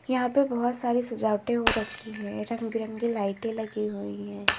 यहां पे बहोत सारी सजावटे हो रखी है रंग बिरंगी लाइटें लगी हुई है।